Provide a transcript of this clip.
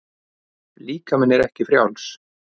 Líkaminn er ekki frjáls.